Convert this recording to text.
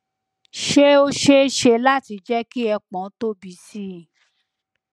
ṣé ó ṣeé ṣe láti jẹ ki ẹpọn tóbi sí i